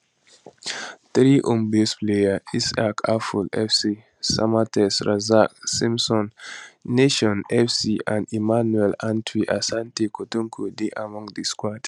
three homebased players isaac afful fc samatex razak simpson nations fc and emmanuel antwi asante kotoko dey among di squad